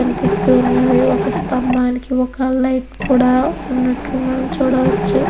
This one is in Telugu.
కనిపిస్తూ ఉన్నవి ఒక స్తంభానికి ఒక లైట్ కూడా ఉన్నట్లు మనం చూడవచ్చు.